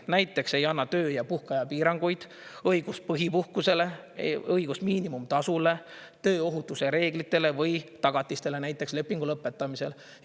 Näiteks ei anna töö- ja puhkeaja piiranguid, õigust põhipuhkusele, õigust miinimumtasule, tööohutuse reeglitele või tagatistele näiteks lepingu lõpetamisel.